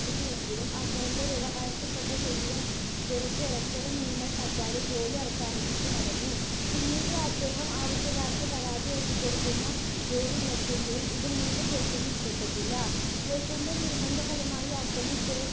ആരംഭിച്ചുവെങ്കിലും ആദ്യത്തെ വ്യവഹാരത്തിൽത്തന്നെ ശരീരം വിറച്ച് ഒരക്ഷരം മിണ്ടാൻ പറ്റാതെ ജോലി അവസാനിപ്പിച്ച് മടങ്ങി. പിന്നീട് അദ്ദേഹം ആവശ്യക്കാർക്ക് പരാതി എഴുതിക്കൊടുക്കുന്ന ജോലി നോക്കിയെങ്കിലും ഇത് മൂത്ത ജ്യേഷ്ഠന് ഇഷ്ടപ്പെട്ടില്ല. ജ്യേഷ്ഠന്റെ നിർബന്ധഫലമായി അദ്ദേഹം സേട്ട്